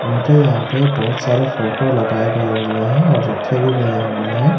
उनके यहां पे बहुत सारे फोटो लगाए गए हुए है और रखे भी गए हुए हैं।